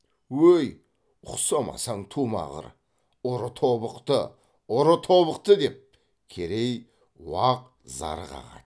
өй ұқсамасаң тумағыр ұры тобықты ұры тобықты деп керей уақ зар қағады